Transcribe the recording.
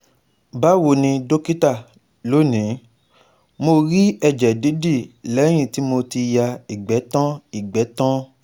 Bawo ni dókítà, lónìí, mo rí ẹ̀jẹ̀ didi lẹ́yìn tí mo ti ya igbe tan igbe tan